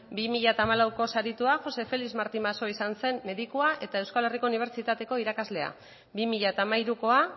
bi mila hamalauko saritua josé felix martí masso izan zen medikua eta euskal herriko unibertsitateko irakaslea bi mila hamairukoa